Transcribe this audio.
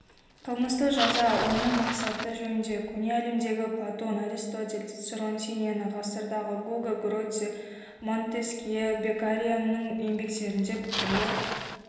қылмыстық жаза оның мақсаты жөнінде көне әлемдегі платон аристотель цицерон сенена ғасырдағы гуго гроций монтескье беккарианың еңбектерінде пікірлер